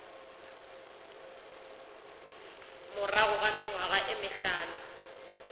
morago ga mengwaga ye mehlano